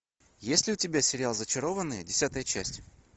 есть ли у тебя сериал зачарованные десятая часть